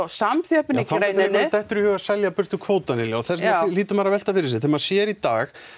samþjöppun í greininni dettur í hug að selja burtu kvótann Lilja og því hlýtur maður að velta fyrir sér maður sér í dag